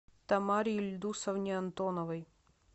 тамаре ильдусовне антоновой